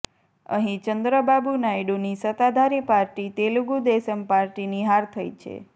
અહીં ચંદ્રબાબુ નાયડુની સત્તાધારી પાર્ટી તેલુગુ દેશમ પાર્ટીની હાર થઇ છે